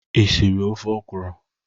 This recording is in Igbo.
Ị siri ofe okwụrụ?